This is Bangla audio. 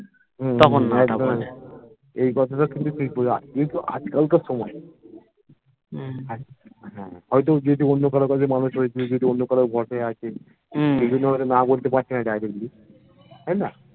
এইকথাটা যদি তুই বোঝাস এটাতো আজকালকার সময় হ্যা হয়তো ওর যদি অন্য কারোর মানুষ হয়েছে অন্য কারোর ভরসায় আছে বিভিন্ন কারণে না বলতে পারছেনা directly তাইনা